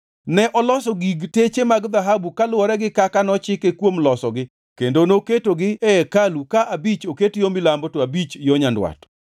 Ne oloso gig teche mag dhahabu kaluwore gi kaka nochike kuom losogi kendo noketogi e hekalu ka abich oket yo milambo, to abich yo nyandwat.